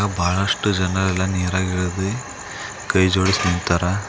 ಬಹಳಷ್ಟು ಜನ ಎಲ್ಲಾ ನೀರಾಗ ಇಲ್ದಿ ಕೈ ಜೋಡಿಸಿ ನಿಂತಾರ.